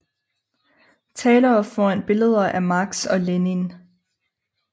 Talere foran billeder af Marx og Lenin